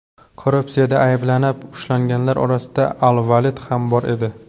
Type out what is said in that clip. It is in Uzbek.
Korrupsiyada ayblanib ushlanganlar orasida al-Valid ham bor edi .